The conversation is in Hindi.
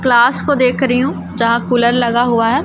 क्लास को देख रही हूं जहां कूलर लगा हुआ है।